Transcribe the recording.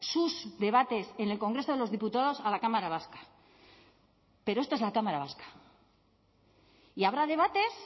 sus debates en el congreso de los diputados a la cámara vasca pero esto es la cámara vasca y habrá debates